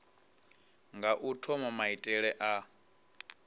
nga u thoma maitele a